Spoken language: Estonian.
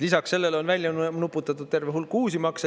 Lisaks sellele on välja nuputatud terve hulk uusi makse.